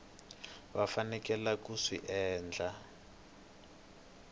va faneleke ku swi endla